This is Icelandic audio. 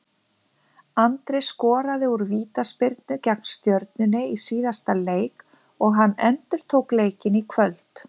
Andri skoraði úr vítaspyrnu gegn Stjörnunni í síðasta leik og hann endurtók leikinn í kvöld.